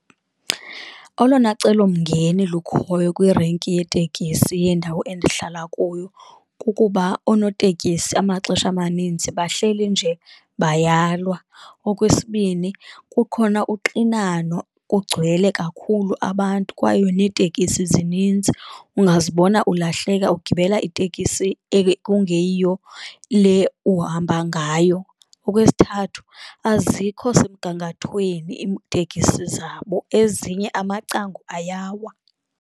Olona celomngeni lukhoyo kwirenki yeetekisi yendawo endihlala kuyo kukuba oonoteksi amaxesha amaninzi bahleli nje bayalwa. Okwesibini, kukhona uxinano kugcwele kakhulu abantu kwaye netekisi zininzi, ungazibona ulahleka ugibela itekisi kungeyiyo le uhamba ngayo. Okwesithathu, azikho semgangathweni iitekisi zabo ezinye amacango ayawa.